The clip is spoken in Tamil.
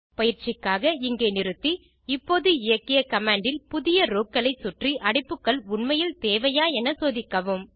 பயிற்சிக்காக இங்கே நிறுத்தி இப்போது இயக்கிய கமாண்ட் இல் புதிய ரோக்களைச்சுற்றி அடைப்புகள் உண்மையில் தேவையா என சோதிக்கவும்